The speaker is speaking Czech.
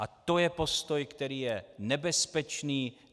A to je postoj, který je nebezpečný.